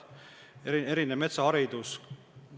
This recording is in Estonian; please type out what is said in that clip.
Meil on ka metsaharidus.